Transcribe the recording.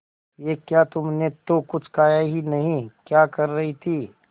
ये क्या तुमने तो कुछ खाया ही नहीं क्या कर रही थी